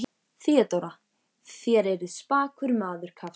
THEODÓRA: Þér eruð spakur maður, kafteinn.